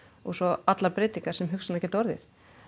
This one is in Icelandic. svo allar breytingar sem hugsanlega geta orðið